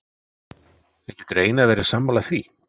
En getur Einar verið sammála því?